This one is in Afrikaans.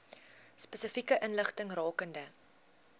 spesifieke inligting rakende